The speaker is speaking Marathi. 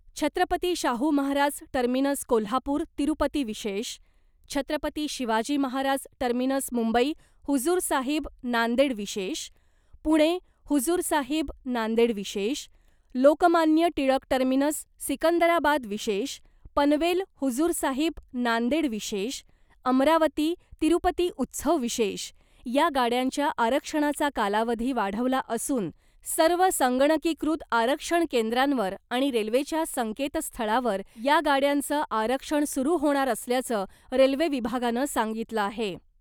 छत्रपती शाहू महाराज टर्मिनस कोल्हापूर तिरुपती विशेष , छत्रपती शिवाजी महाराज टर्मिनस मुंबई हुजुर साहिब नांदेड विशेष , पुणे हुजूर साहिब नांदेड विशेष , लोकमान्य टिळक टर्मिनस सिकंदराबाद विशेष , पनवेल हुजुर साहिब नांदेड विशेष , अमरावती तिरुपती उत्सव विशेष , या गाड्यांच्या आरक्षणाचा कालावधी वाढवला असून , सर्व संगणकीकृत आरक्षण केंद्रांवर आणि रेल्वेच्या संकेतस्थळावर , या गाड्यांचं आरक्षण सुरू होणार असल्याचं रेल्वे विभागानं सांगितलं आहे .